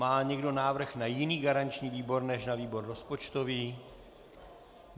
Má někdo návrh na jiný garanční výbor než na výbor rozpočtový?